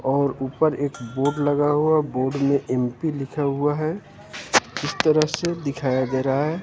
और ऊपर एक बोर्ड लगा हुआ है बोर्ड में एम_पी लिखा हुआ है इस तरह से दिखाया जा रहा है।